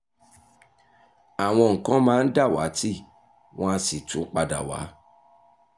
àwọn nǹkan máa ń dàwátì wọ́n á sì tún padà wá